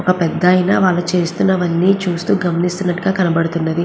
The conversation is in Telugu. ఒక పెద్దాయన వాళ్ళు చేస్తున్నవన్నీ చూస్తూ గమనిస్తున్నట్టుగా కనబడుతున్నది.